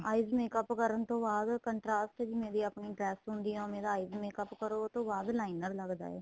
eyes makeup ਕਰਨ ਤੋ ਬਾਅਦ contrast ਜਿਵੇਂ ਵੀ ਆਪਣੀ dress ਹੁੰਦੀ ਆਂ ਉਵੇ ਦਾ eyes makeup ਕਰੋ ਉਹ ਤੋਂ ਬਾਅਦ liner ਲੱਗਦਾ ਏ